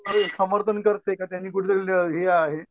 समर्थन करते की त्यांनी कुठंतर हे आहे